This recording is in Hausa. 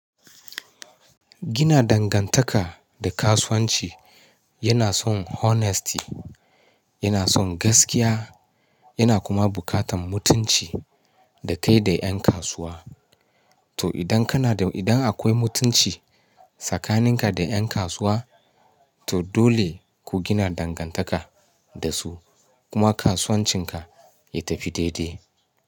Gina dangantaka da kasuwanci yana son honesty, yana son gaskiya, yana kuma buƙatan mutunci da kai da ƴan kasuwa. To idan kana da, idan akwai mutunci tsakaninka da yan kasuwa, to dole ku gina dangantaka da su kuma kasuwancinka ya tafi daidai.